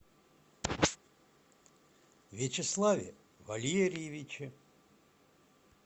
вячеславе валерьевиче